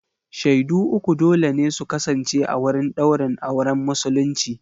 Shaidu uku dole ne su kasance a wurin ɗaurin auren musulunci.